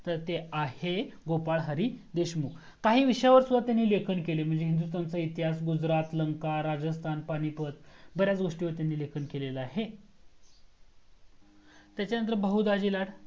तर ते आहे गोपाल हरी देशमुख काही विषयावर सुद्धा ते लेखन केले म्हणजे हिंदुस्तानचा इतिहास गुजरात लंका राजस्थान पानीपत बर्‍याच गोस्टिंवर त्यांनी लेखन केलेला आहे त्याचंनंतर बहू दाजी लाल